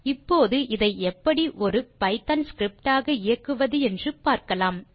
இப்போது இதை எப்படி ஒரு பைத்தோன் ஸ்கிரிப்ட் ஆக இயக்குவது என்று பார்க்கலாம்